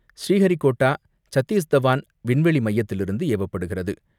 ஸ்ரீஹரிகோட்டா சத்தீஸ்தவான் விண்வெளி மையத்திலிருந்து ஏவப்படுகிறது.